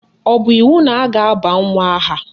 Ọ bụ iwu na a ga-aba nwa aha?